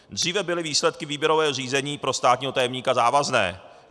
Dříve byly výsledky výběrového řízení pro státního tajemníka závazné.